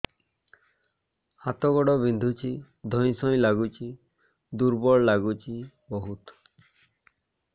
ହାତ ଗୋଡ ବିନ୍ଧୁଛି ଧଇଁସଇଁ ଲାଗୁଚି ଦୁର୍ବଳ ଲାଗୁଚି ବହୁତ